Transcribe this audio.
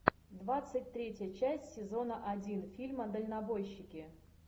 двадцать третья часть сезона один фильма дальнобойщики